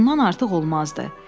Bundan artıq olmazdı.